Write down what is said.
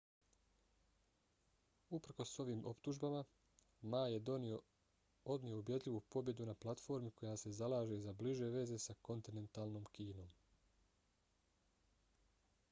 uprkos ovim optužbama ma je odnio ubjedljivu pobjedu na platformi koja se zalaže za bliže veze s kontinentalnom kinom